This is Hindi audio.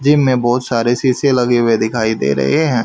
जिम में बहुत सारे शीशे लगे हुए दिखाई दे रहे हैं।